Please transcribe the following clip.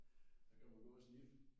Så kan man gå og sniffe